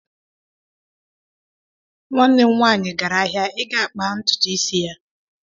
Nwanne m nwanyị gara ahịa ị gaa kpaa ntutu isi ya.